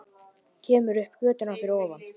Kemur upp á götuna fyrir ofan.